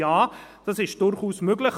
Ja, das ist durchaus möglich.